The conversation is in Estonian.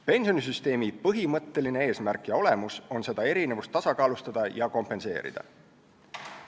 Pensionisüsteemi põhimõtteline eesmärk ja olemus on seda erinevust tasakaalustada ja kompenseerida.